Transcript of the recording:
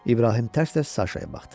İbrahim tərs-tərs Saşaya baxdı.